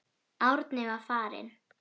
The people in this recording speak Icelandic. Árni var farinn.